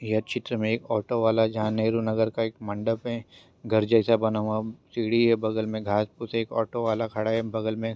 यह चित्र में एक ऑटो वाला जहाँ नेहरू नगर का एक मंडप हैं घर जैसा बना हुआ सीडी हैं बगल में घास फुस हैं ऑटो वाला खड़ा हैं बगल में।